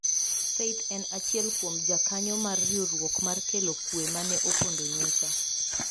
Faith en achiel kuom jakanyo mar riwruok mar kelo kwe ma ne opondo nyocha.